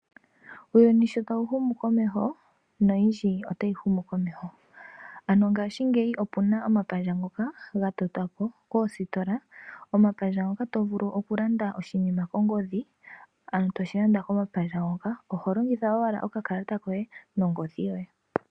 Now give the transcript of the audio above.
Uuyuni shota wuhumu komeho noyindji otayi humu komeho , ano ngaashingeiyi opena omapandja gatotwapo koostola, omapandja ngoka tovulu okulanda oshinima kongodhi ano toshilanda koma pandja hoka, ohalongitha owala okakalata koye nongodhi yoye.